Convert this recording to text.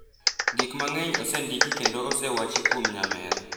Gik mang’eny osendiki kendo osewachi kuom nyamera.